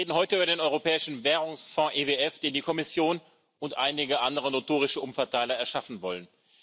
Wir reden heute über den Europäischen Währungsfonds EWF, den die Kommission und einige andere notorische Umverteiler erschaffen wollen.